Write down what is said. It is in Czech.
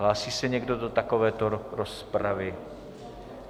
Hlásí se někdo do takovéto rozpravy?